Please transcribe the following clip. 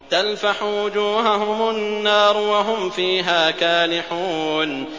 تَلْفَحُ وُجُوهَهُمُ النَّارُ وَهُمْ فِيهَا كَالِحُونَ